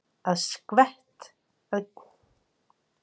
Að geta skvett ærlega úr klaufunum!